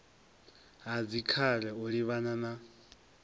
ha dzikhare u livhana na